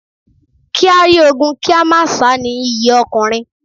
Kí á rí ogun kí a má sá ni iyì ọkùnrin.